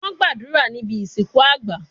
Wọ́n gbàdúrà níbi ìsìnkú àgbà